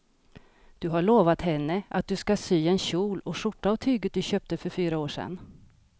Du har lovat henne att du ska sy en kjol och skjorta av tyget du köpte för fyra år sedan.